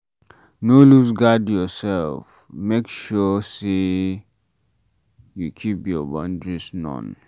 No loose guard your self, make sure sey you keep your boundaries known